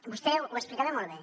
vostè ho explicava molt bé